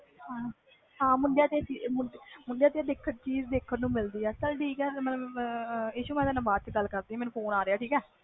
ਹਾਂ ਮੁੰਡਿਆਂ ਵਿਚ ਆਹ ਚੀਜ਼ ਦੇਖਣ ਨੂੰ ਮਿਲਦੀ ਆ ਚਲ ਠੀਕ ਹੈ ਮੈਂ ਬਾਅਦ ਵਿਚ ਗੱਲ ਕਰਦੀ ਆ